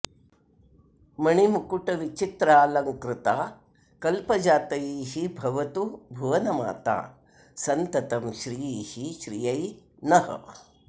मणिमकुटविचित्रालङ्कृता कल्पजातैः भवतु भुवनमाता सन्ततं श्रीः श्रियै नः